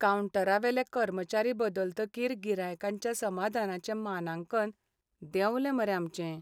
कावंटरावेले कर्मचारी बदलतकीर गिरायकांच्या समादानाचें मानांकन देंवलें मरे आमचें.